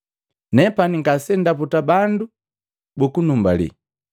“Nepani ngasendaputa bandu buku numbalila.